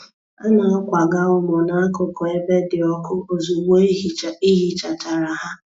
A na-akwaga ụmụ nakụkụ ebe di ọkụ ozugbo ihichachara ha.